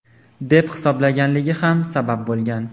deb hisoblaganligi ham sabab bo‘lgan.